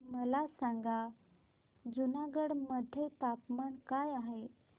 मला सांगा जुनागढ मध्ये तापमान काय आहे